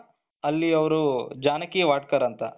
ಅಲ್ಲಿ ಅವರು ಜಾನಕಿ ವಾಡ್ಕರ್ ಅಂತ,